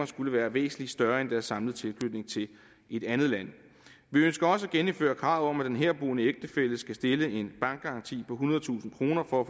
skulle være væsentlig større end deres samlede tilknytning til et andet land vi ønsker også at genindføre kravet om at den herboende ægtefælle skal stille en bankgaranti på ethundredetusind kroner for at